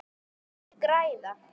Þeir græða.